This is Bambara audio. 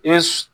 I bɛ